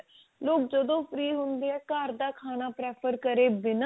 ਲੋਕ ਜਦੋਂ free ਹੁੰਦੇ ਆ ਘਰ ਦਾ ਖਾਣਾ prefer ਕਰੇ ਬਿਨਾ